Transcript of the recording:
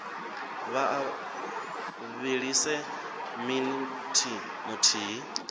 vha a vhilise minithi muthihi